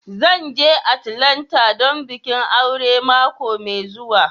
Zan je Atlanta don bikin aure mako mai zuwa.